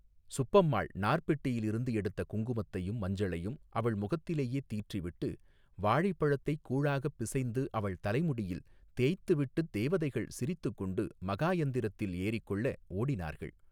சுப்பம்மாள் நார்ப்பெட்டியில் இருந்து எடுத்த குங்குமத்தையும் மஞ்சளையும் அவள் முகத்திலேயே தீற்றி விட்டு வாழைப்பழத்தைக் கூழாகப் பிசைந்து அவள் தலைமுடியில் தேய்த்து விட்டுத் தேவதைகள் சிரித்துக்கொண்டு மகாயந்திரத்தில் ஏறிக்கொள்ள ஓடினார்கள்.